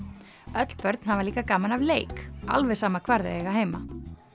öll börn hafa líka gaman af leik alveg sama hvar þau eiga heima